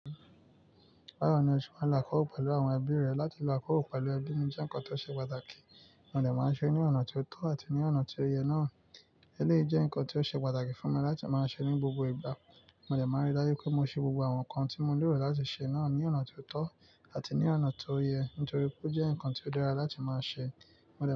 Bawo ni ose máa ń lo àkọ̀kọ́ pẹ̀lú àwọn ẹbí rẹ. Láti lo àkọ́rọ́ pẹ̀lú ẹbí ni jẹ́ ǹkan tó ṣe pàtàkì. Mo dẹ̀ máa ń ṣe é ní ọ̀nà tio tọ́ àti ní ọ̀nà tó yẹ náà. Eléyìí jẹ́ ǹkan tó ṣe pàtàkì fún mi láti máa ṣe é ní gbogbo ìgbà. Mo dẹ̀ máa ń rí dájú pé mo ṣe gbogbo àwọn nǹkan tí mo lérò láti ṣe náà ní ọ̀nà tio tọ́ àti ní ọ̀nà tó yẹ, nítorí pé ó jẹ́ ǹkan tó dára láti máa ṣe. Mo dẹ̀